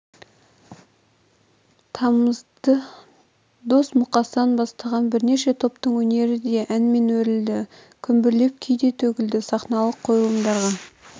тамызды дос-мұқасан бастаған бірнеше топтың өнері де әнмен өрілді күмбірлеп күй де төгілді сахналық қойылымдарға